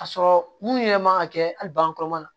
Ka sɔrɔ mun yɛrɛ man ka kɛ hali bagan kɔrɔma na